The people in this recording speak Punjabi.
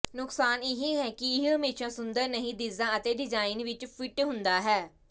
ਨੁਕਸਾਨ ਇਹ ਹੈ ਕਿ ਇਹ ਹਮੇਸ਼ਾ ਸੁੰਦਰ ਨਹੀਂ ਦਿੱਸਦਾ ਅਤੇ ਡਿਜ਼ਾਇਨ ਵਿਚ ਫਿੱਟ ਹੁੰਦਾ ਹੈ